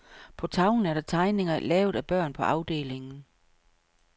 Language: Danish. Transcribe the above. På tavlen er der tegninger, lavet af børn på afdelingen.